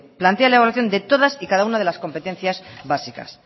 plantea la evaluación de todas y cada una de las competencias básicas